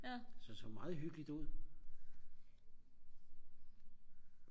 så det så meget hyggeligt ud